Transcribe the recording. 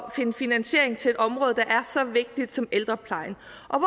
at finde finansiering til et område der er så vigtigt som ældreplejen